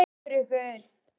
Og börn.